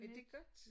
Er det godt?